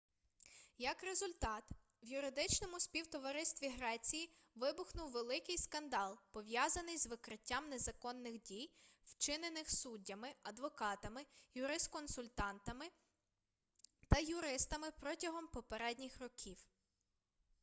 як результат в юридичному співтоваристві греції вибухнув великий скандал пов'язаний з викриттям незаконних дій вчинених суддями адвокатами юрисконсультами та юристами протягом попередніх років